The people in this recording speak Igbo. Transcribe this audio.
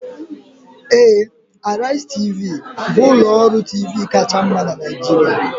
Ee, Arise Tv, bụ ụlọ ọrụ TV kacha mma na Nigeria